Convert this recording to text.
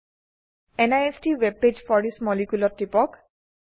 নিষ্ট web page for this moleculeত টিপক